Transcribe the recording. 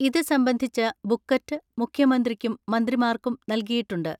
ഇത് സംബന്ധിച്ച ബുക്കലെറ്റ് മുഖ്യമന്ത്രിക്കും മന്ത്രിമാർക്കും നൽകിയിട്ടുണ്ട്.